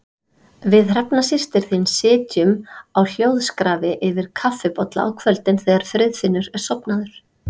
Við Hrefna systir þín sitjum á hljóðskrafi yfir kaffibolla á kvöldin þegar Friðfinnur er sofnaður.